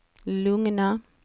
lugna